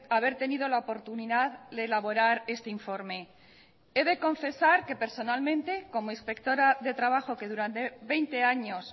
haber tenido la oportunidad de elaborar este informe he de confesar que personalmente como inspectora de trabajo que durante veinte años